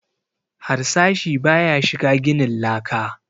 Harsashi ba ya shiga ginin laka